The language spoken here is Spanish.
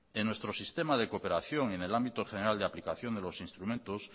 en nuestro sistema de cooperación en el ámbito general de aplicación de los instrumentos